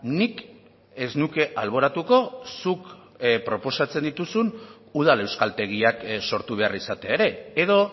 nik ez nuke alboratuko zuk proposatzen dituzun udal euskaltegiak sortu behar izatea ere edo